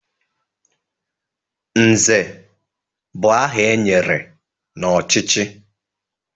Nze bụ aha e nyere n'ọchịchị